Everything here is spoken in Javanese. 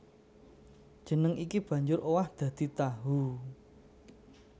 Jeneng iki banjur owah dadi tahu